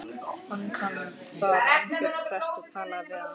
Fann hann þar Arnbjörn prest og talaði við hann.